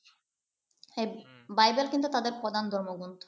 Bible কিন্তু তাদের প্রধান ধর্মগ্রন্থ।